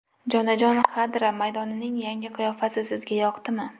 Jonajon Xadra maydonining yangi qiyofasi sizga yoqdimi?